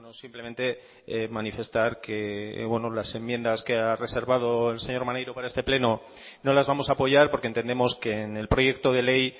simplemente manifestar que las enmiendas que ha reservado el señor maneiro para este pleno no las vamos a apoyar porque entendemos que en el proyecto de ley